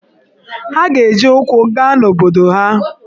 Ha ga-eji ụkwụ gaa n’obodo ha.